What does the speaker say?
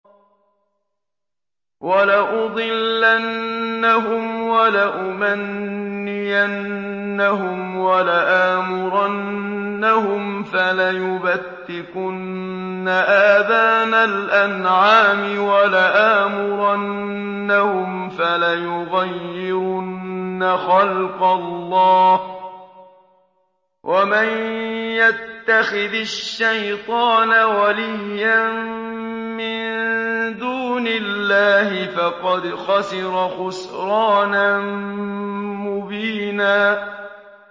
وَلَأُضِلَّنَّهُمْ وَلَأُمَنِّيَنَّهُمْ وَلَآمُرَنَّهُمْ فَلَيُبَتِّكُنَّ آذَانَ الْأَنْعَامِ وَلَآمُرَنَّهُمْ فَلَيُغَيِّرُنَّ خَلْقَ اللَّهِ ۚ وَمَن يَتَّخِذِ الشَّيْطَانَ وَلِيًّا مِّن دُونِ اللَّهِ فَقَدْ خَسِرَ خُسْرَانًا مُّبِينًا